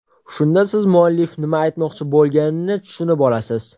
Shunda siz muallif nima aytmoqchi bo‘lganini tushunib olasiz.